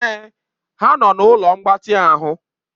Èè ha nọ na ụlọ mgbatị ahụ.